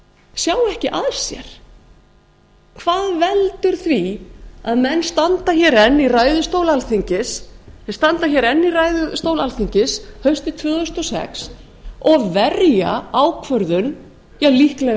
sjá ekki að sér hvað veldur því að menn standa hér enn í ræðustóli alþingis haustið tvö þúsund og sex og verja ákvörðun líklega